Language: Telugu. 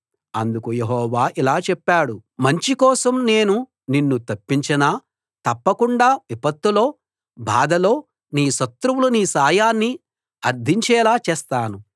అందుకు యెహోవా ఇలా చెప్పాడు మంచి కోసం నేను నిన్ను తప్పించనా తప్పకుండా విపత్తులో బాధలో నీ శత్రువులు నీ సాయాన్ని అర్థించేలా చేస్తాను